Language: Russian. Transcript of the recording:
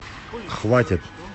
хватит